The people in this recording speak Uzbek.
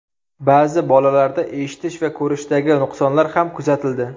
Ba’zi bolalarda eshitish va ko‘rishdagi nuqsonlar ham kuzatildi.